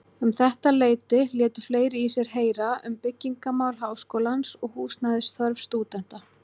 Um þetta leyti létu fleiri í sér heyra um byggingarmál Háskólans og húsnæðisþörf stúdenta.